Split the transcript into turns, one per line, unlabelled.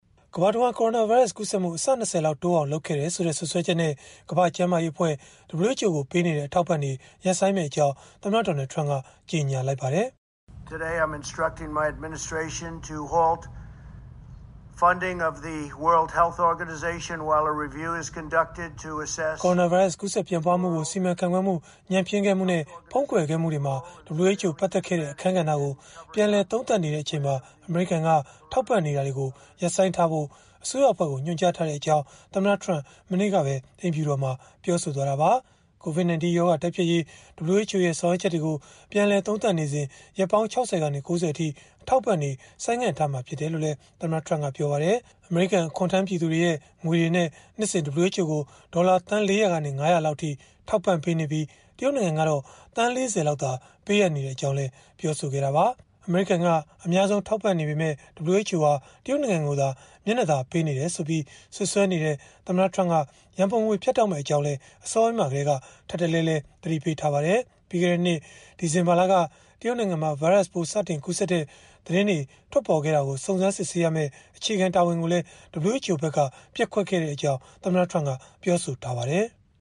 ကမ္ဘာတဝန်း ကိုရိုနာဗိုင်းရပ်စ် ကူးစက်မှု အဆ ၂၀ လောက်တိုးအောင် လုပ်ခဲ့တယ်ဆိုတဲ့ စွပ်စွဲချက်နဲ့ ကမ္ဘာ့ကျန်းမာရေးအဖွဲ့ ကို ပေးနေတဲ့ အထောက်အပံ့တွေ ရပ်ဆိုင်းမယ့်အကြောင်း သမ္မတ Donald Trump က ကြေညာလိုက်ပါတယ
်။ ကိုရိုနာဗိုင်းရပ်စ်
ကူးစက်ပြန့်ပွားမှုကို စီမံခန့်ခွဲမှု ညံ့ဖျင်းခဲ့မှုနဲ့ ဖုံးကွယ်ခဲ့မှုတွေမှာ WHO ပတ်သက်ခဲ့တဲ့ အခန်းကဏ္ဍကို ပြန်လည် သုံးသပ်နေချိန်မှာ အမေရိကန်က ထောက်ပံ့နေတာတွေကို ရပ်ဆိုင်းထားဖို့ အစိုးရအဖွဲ့ကို ညွှန်ကြားထားကြောင်း သမ္မတ Trump မနေ့ကပဲ အိမ်ဖြူတော်မှာ ပြောဆိုသွားတာပါ။ COVID-19 ရောဂါ တိုက်ဖျက်ရေး WHO ရဲ့ ဆောင်ရွက်ချက်တွေကို ပြန်လည်သုံးသပ်နေစဉ် ရက်ပေါင်း ၆၀ ကနေ ၉၀ အထိ အထောက်အပံ့တွေ ဆိုင်းငံ့သွားမှာ ဖြစ်တယ်လို့လည်း သမ္မတ Trump ကပြောပါတယ်။ အမေရိကန် အခွန်ထမ်းပြည်သူတွေရဲ့ငွေတွေနဲ့ နှစ်စဉ် WHO ကို ဒေါ်လာ သန်း ၄၀၀ ကနေ ၅၀၀ လောက်အထိ ထောက်ပံ့ပေးနေပြီး တရုတ်နိုင်ငံကတော့ သန်း ၄၀ လောက်သာ ပေးအပ်နေကြောင်းလည်း ပြောခဲ့တာပါ။ အမေရိကန်က အများဆုံး ထောက်ပံ့နေပေမဲ့ WHO ဟာ တရုတ်နိုင်ငံကိုသာ မျက်နှာသာပေးနေတယ်ဆိုပြီး စွပ်စွဲနေတဲ့ သမ္မတ Trump က ရန်ပုံငွေတွေ ဖြတ်တောက်မယ့် အကြောင်းလည်း အစောပိုင်းမှာကတည်းက ထပ်တလဲလဲ သတိပေးထားပါတယ်။ ပြီးခဲ့တဲ့နှစ် ဒီဇင်ဘာလက တရုတ်နိုင်ငံမှာ ဗိုင်းရပ်စ်စတင် ကူးစက်တဲ့ သတင်းတွေ စတင်ထွက်ပေါ်ခဲ့တာကို စုံစမ်းစစ်ဆေးရမယ့် အခြေခံတာဝန်ကိုလည်း WHO ဘက်က ပျက်ကွက်ခဲ့ကြောင်း ပြောဆိုထားပါတယ်။